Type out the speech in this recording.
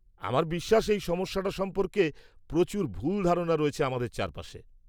-আমার বিশ্বাস এই সমস্যাটা সম্পর্কে প্রচুর ভুল ধারণা রয়েছে আমাদের চারপাশে।